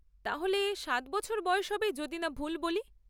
তাহলে, সাত বছর বয়স হবে যদি না ভুল বলি।